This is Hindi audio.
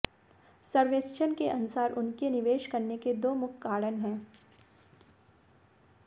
सर्वेक्षण के अनुसार उनके निवेश करने के दो मुख्य कारण हैं